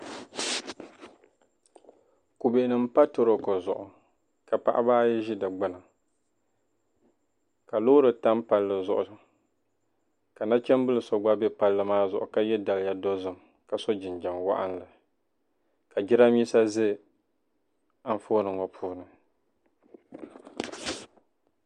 Kɔdunima m-pa torooko zuɣu ka paɣiba ayi ʒi di gbini ka loori tam palli zuɣu ka nachimbila so gba be palli maa zuɣu ka ye daliya dozim ka so jinjam waɣinli ka jidambiisa za anfooni ŋɔ puuni.